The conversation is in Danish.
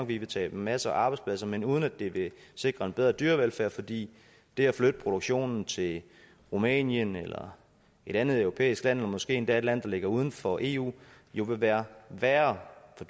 vi vil tabe en masse arbejdspladser men uden at det vil sikre en bedre dyrevelfærd fordi det at flytte produktionen til rumænien eller et andet europæisk land og måske endda til et land der ligger uden for eu jo vil være værre for